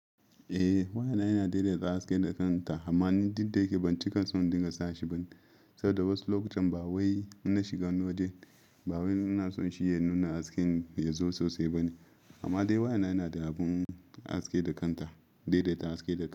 Eh wayana yana daidaita haske da kanta amma ni duk da yake ban cika son dinga sashi ba ni saboda wasu lokutan ba wai in na shiga wani waje ba wai ina son shi ya nuna hasken yazo sosai bane amma dai wayana yana da abun haske da kanta, daidaita haske da.